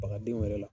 Bagadenw yɛrɛ la